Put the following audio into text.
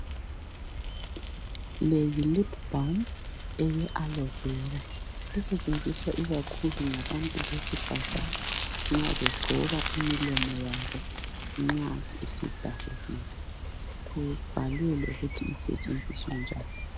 le yi lip balm ye aloe vera setshenziswa ikakhulu ngabantu besifazana nxa begcoba imilomo yabo nxa isidabukile kubhalwe lokuthi isetshenziswa njani